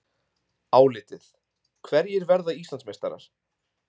Álitið: Hverjir verða Íslandsmeistarar?